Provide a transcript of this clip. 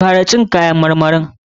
Kara cin kayan marmari!